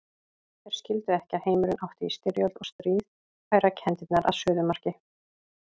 Þeir skildu ekki að heimurinn átti í styrjöld og stríð færa kenndirnar að suðumarki.